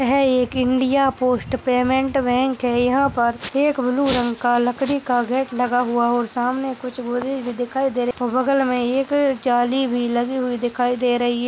यह एक India Post Payment Bank है यहाँ पर एक ब्लू रंग का लकड़ी का गेट लगा हुआ और सामने भी दिखाई दे रही और बगल में एक जाली भी लगी हुई दिखाई दे रही है।